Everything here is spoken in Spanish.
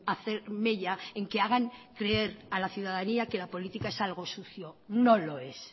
a hacer mella en que hagan creer que la ciudadanía que la política es algo sucio no lo es